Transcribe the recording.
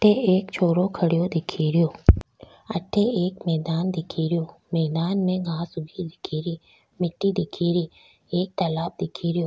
अठ एक छोरो खडियो दिखे रो अठ एक मैदान दिखे रो मैदान में घांस उगी दिख री मिट्टी दिखे री एक तालाब दिख रो।